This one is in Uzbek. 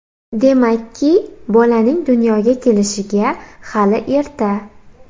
Demakki, bolaning dunyoga kelishiga hali erta.